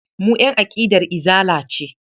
Mu ƴan aƙidar Izala ce.